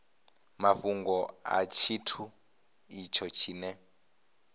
mafhungo a tshithu itsho tshine